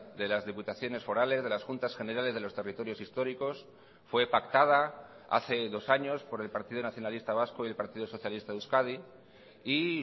de las diputaciones forales de las juntas generales de los territorios históricos fue pactada hace dos años por el partido nacionalista vasco y el partido socialista de euskadi y